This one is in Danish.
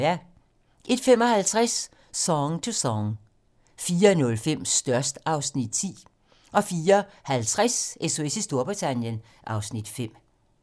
01:55: Song to Song 04:05: Størst (Afs. 10) 04:50: SOS i Storbritannien (Afs. 5)